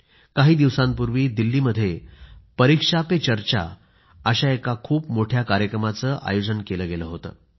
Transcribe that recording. काही दिवसांपूर्वी दिल्लीमध्ये परीक्षा पे चर्चा अशा एका खूप मोठ्या कार्यक्रमाचं आयोजन केलं होतं